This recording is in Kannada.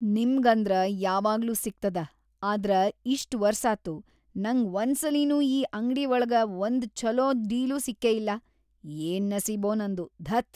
ನಿಮ್ಗಂದ್ರ ಯಾವಾಗ್ಲೂ ಸಿಗ್ತದ ಆದ್ರ ಇಷ್ಟ್‌ ವರ್ಸಾತು ನಂಗ್‌ ವಂದ್ಸಲಿನೂ ಈ ಅಂಗ್ಡೀ ವಳಗ ವಂದೂ ಛಲೋ ಡೀಲ್ ಸಿಕ್ಕೇಯಿಲ್ಲಾ, ಯೇನ್‌ ನಸೀಬೊ ನಂದು..‌ ಧತ್.